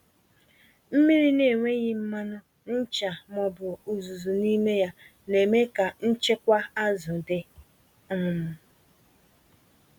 Mmiri na-enweghị mmanụ, ncha, ma ọ bụ uzuzu n'ime ya, na-eme ka nchekwa azụ dị. um